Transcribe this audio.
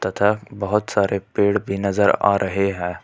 तथा बहुत सारे पेड़ भी नजर आ रहे हैं।